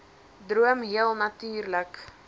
droom heel natuurlik